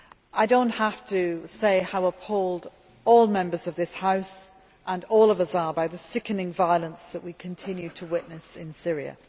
I do not have to say how appalled all Members of this House and all of us are by the sickening violence that we continue to witness in Syria.